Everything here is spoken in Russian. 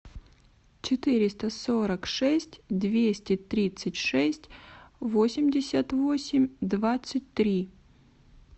четыреста сорок шесть двести тридцать шесть восемьдесят восемь двадцать три